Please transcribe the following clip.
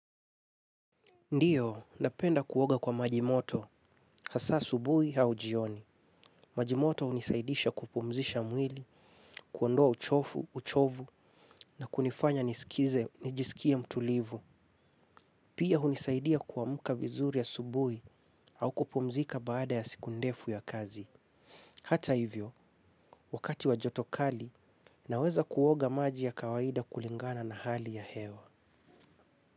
Ndiyo, napenda kuoga kwa majimoto, hasa asubuhi au jioni. Majimoto hunisaidisha kupumzisha mwili, kuondoa uchofu, uchovu, na kunifanya nisikize, nijisikie mtulivu. Pia hunisaidia kuamka vizuri asubuhi au kupumzika baada ya siku ndefu ya kazi. Hata hivyo wakati wa joto kali, naweza kuoga maji ya kawaida kulingana na hali ya hewa.